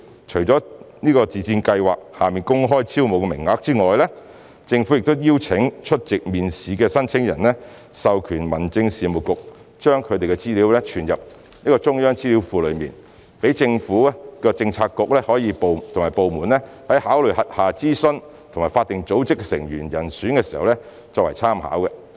除了在自薦計劃下公開招募的名額外，政府亦邀請出席面試的申請人授權民政事務局把他們的資料存入中央資料庫，讓政府的政策局和部門在考慮轄下諮詢及法定組織的成員人選時作參考之用。